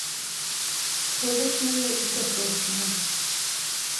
фобошная и кофешная